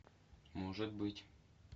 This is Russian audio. может быть